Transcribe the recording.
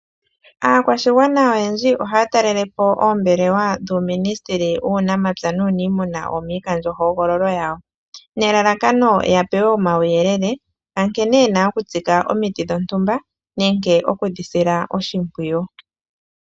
Aakwashigwana oyendji ohaatalele po oombelewa dhuuministili wuunamapya nuunimuna dhomikandjohogololo yawo, nelalakano yapewe uuyelele wankene yena okutsika omiti dhontumba nosho woo nkene yena okudi sila oshimpwiyu